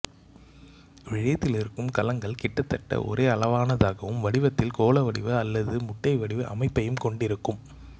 இவ்விழையத்திலிருக்கும் கலங்கள் கிட்டத்தட்ட ஒரே அளவானதாகவும் வடிவத்தில் கோள வடிவ அல்லது முட்டை வடிவ அமைப்பையும் கொண்டிருக்கும்